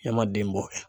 Ne ma den bɔ